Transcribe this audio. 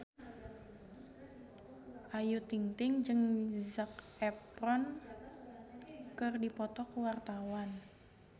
Ayu Ting-ting jeung Zac Efron keur dipoto ku wartawan